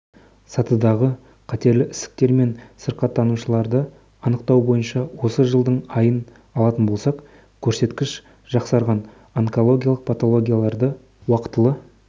сатыдағы қатерлі ісіктермен сырқаттанушыларды анықтау бойынша осы жылдың айын алатын болсақ көрсеткіш жақсарған онкологиялық патологияларды уақтылы